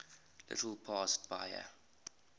little past bahia